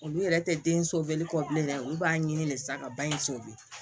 Olu yɛrɛ tɛ den kɔ bilen dɛ olu b'a ɲini de sisan ka ba in